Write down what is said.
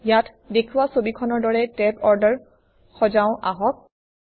ইয়াত দেখুওৱা ছবিখনৰ দৰে টেব অৰ্ডাৰ সজাওঁ আহক